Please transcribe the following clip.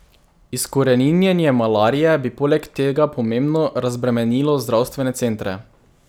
Izkoreninjenje malarije bi poleg tega pomembno razbremenilo zdravstvene centre.